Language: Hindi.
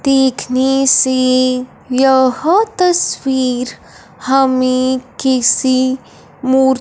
देखने से यह तस्वीर हमें किसी मूर--